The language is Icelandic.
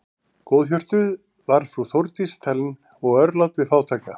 Góðhjörtuð var frú Þórdís talin og örlát við fátæka.